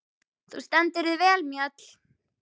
Þú stendur þig vel, Mjöll!